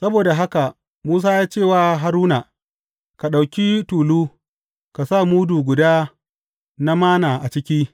Saboda haka Musa ya ce wa Haruna, Ka ɗauki tulu, ka sa mudu guda na Manna a ciki.